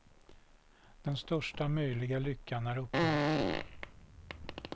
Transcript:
Den största möjliga lyckan är uppnådd.